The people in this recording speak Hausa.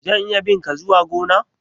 zan iya bi' nka zuwa gona?